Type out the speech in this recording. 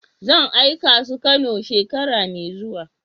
Zan aika su kanow shekara mai zuwa.